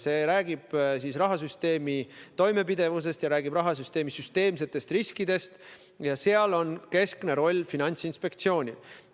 See räägib rahasüsteemi toimepidevusest ja rahasüsteemi süsteemsetest riskidest ning seal on keskne roll Finantsinspektsioonil.